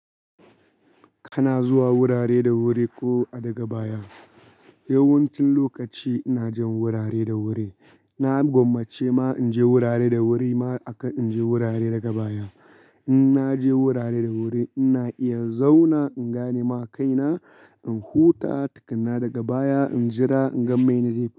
Kana zuwa wurare da wuri ko daga baya? Yawancin lokaci ina jan wurare da wuri. Na gwammace ma in je wurare da wuri ma aka in je wurare daga baya. In naje wurare da wuri ina iya zauna in gane ma kaina, in huta tukuna daga baya, in jira in ga mene zai faru.